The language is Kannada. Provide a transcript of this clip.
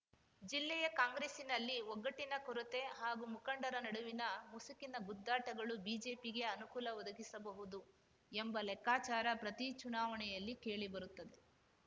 ಜಿಲ್ಲೆಯ ಕಾಂಗ್ರೆಸ್ಸಿನಲ್ಲಿ ಒಗ್ಗಟ್ಟಿನ ಕೊರತೆ ಹಾಗೂ ಮುಖಂಡರ ನಡುವಿನ ಮುಸುಕಿನ ಗುದ್ದಾಟಗಳು ಬಿಜೆಪಿಗೆ ಅನುಕೂಲ ಒದಗಿಸಬಹುದು ಎಂಬ ಲೆಕ್ಕಾಚಾರ ಪ್ರತಿ ಚುನಾವಣೆಯಲ್ಲಿ ಕೇಳಿ ಬರುತ್ತದೆ